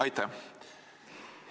Aitäh!